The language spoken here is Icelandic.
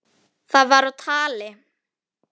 Það var á tali.